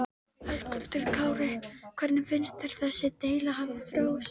Hann hafði ekki verið að taka ofan fyrir fylgdarliðinu.